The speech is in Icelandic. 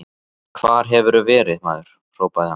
Hvar hefurðu verið, maður? hrópaði hann.